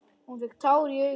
Hún fékk tár í augun.